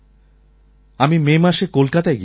আমি মে মাসে কলকাতায় গিয়েছিলাম